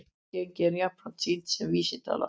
Raungengi er jafnan sýnt sem vísitala